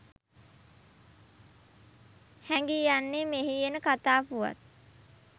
හැඟී යන්නේ මෙහි එන කථා පුවත්